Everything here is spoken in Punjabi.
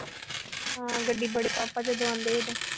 ਹਮ ਗੱਡੀ ਬੜੇ ਪਾਪਾ